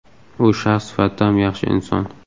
U shaxs sifatida ham yaxshi inson.